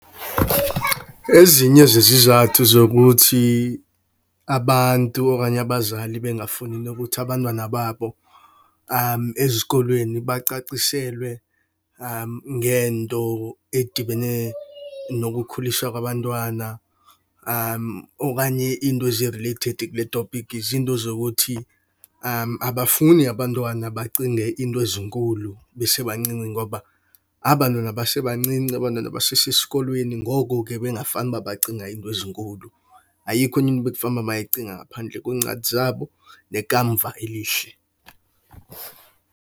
Ezinye zezizathu zokuthi abantu okanye abazali bengafuni nokuthi abantwana babo ezikolweni bacaciselwe ngento edibene nokukhuliswa kwabantwana. Okanye into ezi-related kule topiki zinto zokuthi abafuni abantwana bacinge izinto ezinkulu besebancinci ngoba abantwana basebancinci abantwana basesesikolweni, ngoko ke bekungafane uba bacinga iinto ezinkulu. Ayikho enye into ebekufane uba bayayicinga ngaphandle kweencwadi zabo nekamva elihle.